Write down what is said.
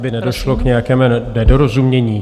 Aby nedošlo k nějakému nedorozumění.